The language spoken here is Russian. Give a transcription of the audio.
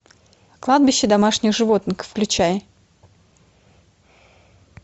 кладбище домашних животных включай